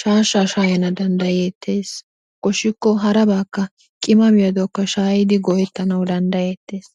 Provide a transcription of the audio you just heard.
shaashshaa shaayana danddayettees. Koshiiko harabaakka qimamiyaaduwaka shaayyidi go"eettanawu danddayettees.